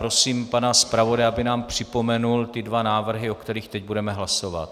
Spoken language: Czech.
Prosím pana zpravodaje, aby nám připomněl ty dva návrhy, o kterých teď budeme hlasovat.